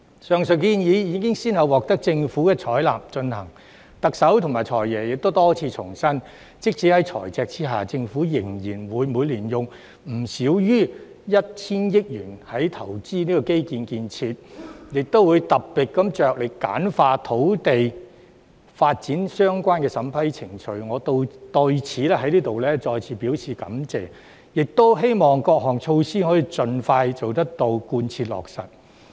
上述建議已先後獲得政府採納及推行，特首和"財爺"亦多次重申，即使在財赤的情況下，政府仍然會每年用不少於 1,000 億元投資基礎建設，亦會特別着力簡化與土地發展的相關程序，我對此再次表示感謝，並期望各項措施可盡快到位、貫徹落實。